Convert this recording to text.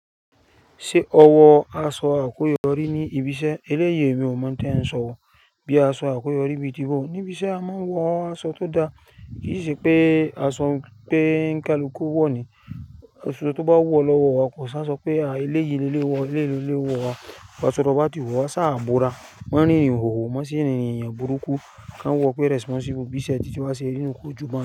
Ṣé ọ̀wọ́ aṣọ àkúyọ rí ní ibi iṣẹ́? Eléyii emi ò mọ̀ tí ẹ ń sọ, bí aṣọ àkúyọ rí bíi tí wó. Níbi iṣẹ́ a máa ń wọ aṣọ tó da, kì í ṣe pé aṣọ pé ńkálùkù wọ̀ ni. Aso tó bá wu ọ̀ lọ́wọ́ wa kò ṣáṣọ pé à, eléyìí lé wọ̀, eléyìí lé wọ̀ wa. Wọ́ aso tó bá ti wu o, sá à bora. Ma ri ìhòhò mọ́ si rinrin ènìyàn burúkú, kán wo pé responble, bí iṣẹ́ títí wá ṣe rí nú kò jù ba n.